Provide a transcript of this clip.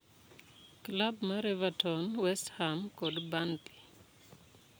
Klab mar Everton, Westham, kod Burnley